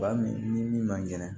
Wa min ni min man kɛnɛ